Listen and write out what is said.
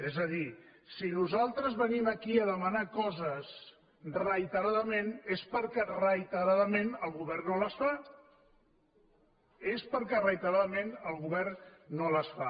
és a dir si nosaltres venim aquí a demanar coses reiteradament és perquè reiteradament el govern no les fa és perquè reitera·dament el govern no les fa